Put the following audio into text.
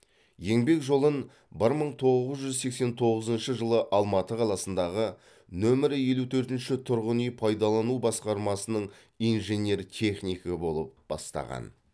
еңбек жолын бір мың тоғыз жүз сексен тоғызыншы жылы алматы қаласындағы нөмірі елу төртінші тұрғын үй пайдалану басқармасының инженер технигі болып бастаған